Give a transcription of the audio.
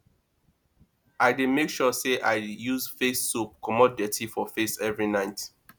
i dey make sure sey i use face soap comot dirty for face every night